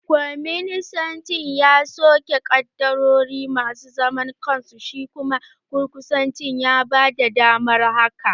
Kwaninsanci ya soke ƙaddarori masu zaman kansu, shi kuma gurguzanci ya bada damar hakan